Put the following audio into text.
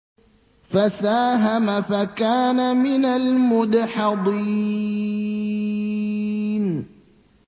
فَسَاهَمَ فَكَانَ مِنَ الْمُدْحَضِينَ